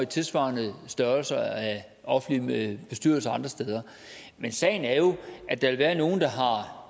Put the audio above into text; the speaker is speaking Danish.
tilsvarende offentlig bestyrelse andre steder men sagen er jo at der vil være nogle